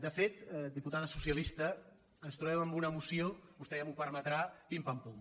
de fet diputada socialista ens trobem amb una moció vostè ja m’ho permetrà pimpampum